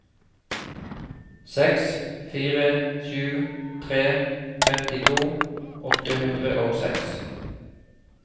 seks fire sju tre trettito åtte hundre og seks